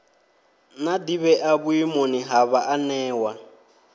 na ḓivhea vhuimoni ha vhaanewa